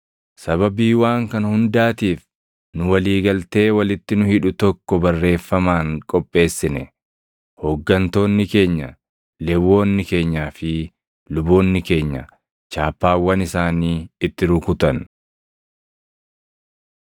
“Sababii waan kana hundaatiif nu walii galtee walitti nu hidhu tokko barreeffamaan qopheessine. Hooggantoonni keenya, Lewwonni keenyaa fi luboonni keenya chaappaawwan isaanii itti rukutan.”